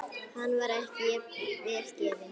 Hann var ekki vel gefinn.